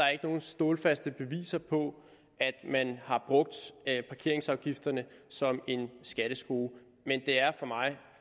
nogen stålfaste beviser på at man har brugt parkeringsafgifterne som en skatteskrue men det er for mig